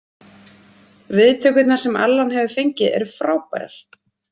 Viðtökurnar sem Alan hefur fengið eru frábærar.